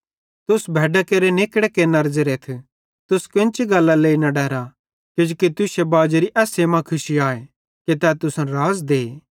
तुस भैड्डां केरे निकड़े केन्नरे ज़ेरेथ तुस कोन्ची गल्लरे लेइ न डरा किजोकि तुश्शे बाजेरी खुशी एस्से मां आए कि तै तुसन राज़ दे